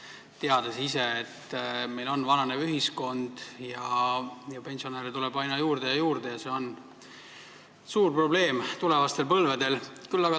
Ometi me teame, et meil on vananev ühiskond ja pensionäre tuleb aina juurde ja juurde ja et see on tulevastel põlvedel suur probleem.